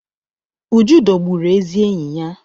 Uju dọgbụrụ ezi enyi ya.